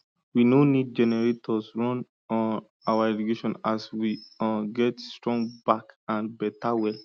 we no need generators run um our irrigation as we um get strong back and beta well